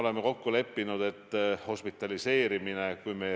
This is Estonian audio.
See kõik tähendab täiendavaid investeeringuid.